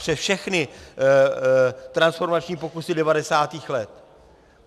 Přes všechny transformační pokusy 90. let.